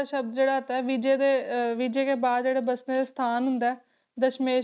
ਸ਼ਬਦ ਜਿਹੜਾ ਹੈ ਵਿਜੈ ਦੇ ਅਹ ਵਿਜੈ ਕੇ ਬਾਅਦ ਜਿਹੜੇ ਬਚਣੇ ਦੇ ਸਥਾਨ ਹੁੰਦਾ ਹੈ ਦਸ਼ਮੇਸ਼